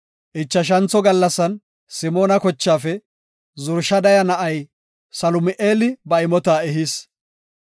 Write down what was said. Ichashantho gallasan Simoona kochaafe Zurishadaya na7ay Salumi7eeli ba imota ehis.